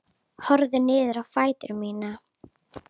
Horfi niður á fætur mína.